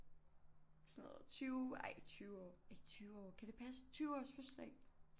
Sådan noget 20 ej ikke 20 år ikke 20 år kan det passe 20 års fødselsdag